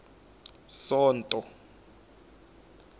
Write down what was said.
sonto